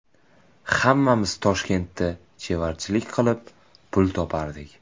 Hammamiz Toshkentda chevarchilik qilib, pul topardik.